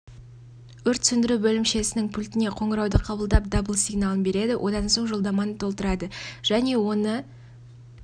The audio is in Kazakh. өрт сөндіру бөлімшесінің пультіне қоңырауды қабылдап дабыл сигналын береді одан соң жолдаманы толтырады және оны